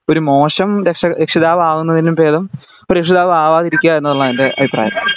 ഒരു മോശം രക്ഷാ രക്ഷിതാവ് ആവുന്നേലും ബേധം രക്ഷിതാവ് ആവാതെതിരിക്ക ഉള്ളത് ആൻ എൻ്റെ അഭിപ്രായം